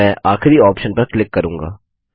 मैं आखिरी ऑप्शन पर क्लिक करूँगा